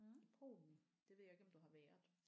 I Polen det ved jeg ikke om du har været